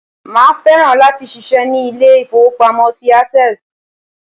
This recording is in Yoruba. Màá fẹ́ràn láti ṣiṣẹ́ ní Ilé ìfowópamọ́ tí Access